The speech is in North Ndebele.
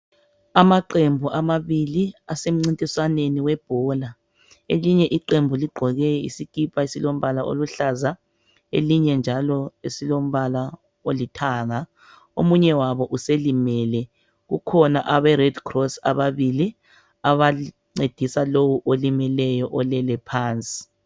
Amaqembu amabili asemcintiswaneni webhola elinye iqembu igqoke isikipa esilombala oluhlaza elinye njalo esilombala olithanga omunye wabo uselimele kukhona abe red cross ababili abancedisa lowo olimeleyo olele phansi.